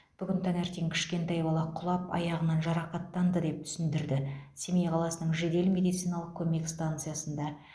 бүгін таңертең кішкентай бала құлап аяғынан жарақаттанды деп түсіндірді семей қаласының жедел медициналық көмек станциясында